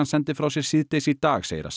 sendi frá sér síðdegis í dag segir að